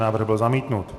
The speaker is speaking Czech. Návrh byl zamítnut.